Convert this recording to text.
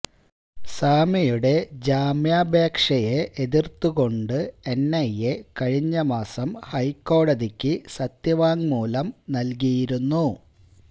സ്വാമിയുടെ ജാമ്യാപേക്ഷയെ എതിർത്തുകൊണ്ട് എൻഐഎ കഴിഞ്ഞ മാസം ഹൈക്കോടതിക്ക് സത്യവാങ്മൂലം നൽകിയിരുന്നു